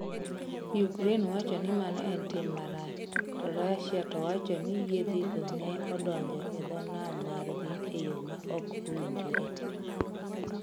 Ukraine wacho ni mano en 'tim marach, ' to Russia to wacho ni yiedhigo ne odonjo e dho nam margi e yo ma ok owinjore.